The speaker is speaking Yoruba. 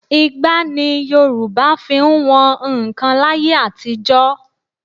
Igbá ni Yorùbá fi ń wọn nnkan láyé àtijọ́